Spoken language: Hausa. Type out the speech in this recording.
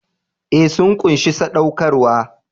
Ee, sun ƙunshi saɗaukarwa.